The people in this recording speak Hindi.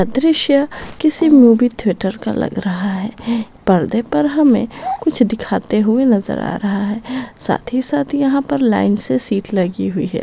अ दृश्य किसी मूवी थिएटर का लग रहा है पर्दे पर हमें कुछ दिखाते हुए नजर आ रहा है साथ ही साथ यहां पर लाइन से सीट्स लगी हुई है।